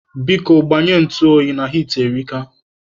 Biko, gbanye ntụ oyi na hiiti erika.